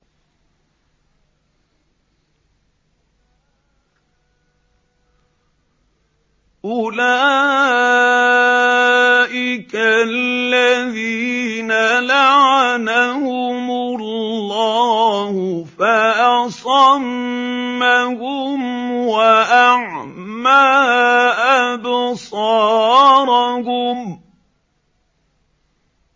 أُولَٰئِكَ الَّذِينَ لَعَنَهُمُ اللَّهُ فَأَصَمَّهُمْ وَأَعْمَىٰ أَبْصَارَهُمْ